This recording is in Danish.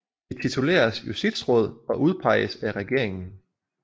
De tituleres justitsråd og udpeges af regeringen